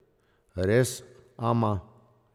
Res, ama.